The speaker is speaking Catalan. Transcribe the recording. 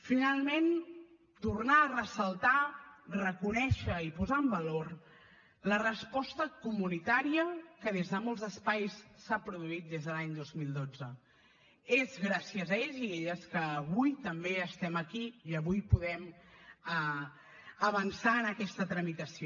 finalment tornar a ressaltar reconèixer i posar en valor la resposta comunitària que des de molts espais s’ha produït des de l’any dos mil dotze és gràcies a ells i elles que avui també estem aquí i avui podem avançar en aquesta tramitació